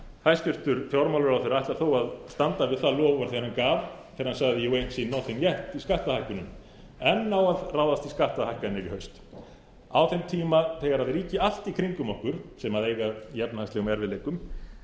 hæstvirtur fjármálaráðherra ætlar þó að standa við það loforð sem hann gaf þegar hann sagði jú einn nothing yet við skattahækkunum enn á að ráðast í skattahækkanir í haust á þeim tíma þegar ríki allt í kringum okkur sem eiga í efnahagslegum erfiðleikum